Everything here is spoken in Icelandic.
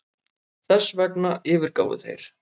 Þessvegna yfirgáfu þeir